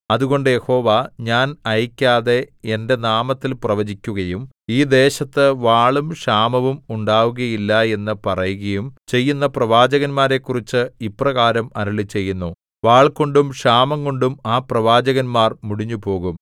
അതുകൊണ്ട് യഹോവ ഞാൻ അയയ്ക്കാതെ എന്റെ നാമത്തിൽ പ്രവചിക്കുകയും ഈ ദേശത്തു വാളും ക്ഷാമവും ഉണ്ടാവുകയില്ല എന്നു പറയുകയും ചെയ്യുന്ന പ്രവാചകന്മാരെക്കുറിച്ച് ഇപ്രകാരം അരുളിച്ചെയ്യുന്നു വാൾകൊണ്ടും ക്ഷാമംകൊണ്ടും ആ പ്രവാചകന്മാർ മുടിഞ്ഞുപോകും